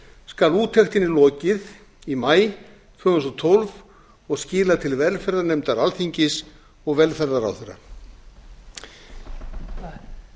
skal úttektinni lokið í maí tvö þúsund og tólf og skilað til velferðarnefndar alþingis og velferðarráðherra þetta